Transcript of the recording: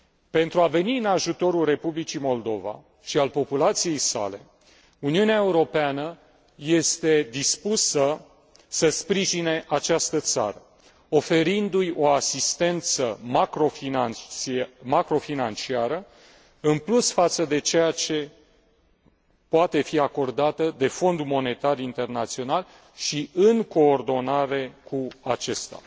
Pentru a veni în ajutorul Republicii Moldova și al populației sale, Uniunea Europeană este dispusă să sprijine această țară, oferindu i o asistență macrofinanciară, în plus față de cea care poate fi acoradată de Fondul Monetar Internațional și în coordonare cu acesta.